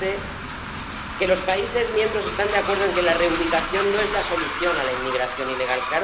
Dijo usted que los países miembros están de acuerdo en que la reubicación no es la solución a la inmigración ilegal.